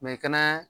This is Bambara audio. i kɛnɛ